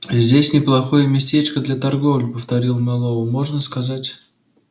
здесь неплохое местечко для торговли повторил мэллоу можно сказать